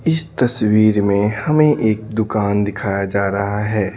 इस तस्वीर में हमें एक दुकान दिखाया जा रहा है।